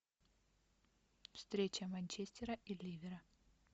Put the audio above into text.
встреча манчестера и ливера